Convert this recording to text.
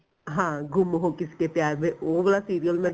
ਹਾਂ ਗੁੰਮ ਹੋ ਕਿਸੀ ਕੇ ਪਿਆਰ ਮੇ ਉਹ ਵਾਲਾ serial ਮੈਂ